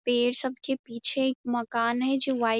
पेड़ सबके पीछे एक मकान है जो व्हाइट --